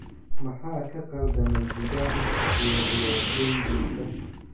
Maxaa ka khaldamay Zidane iyo ciyaartoydiisa?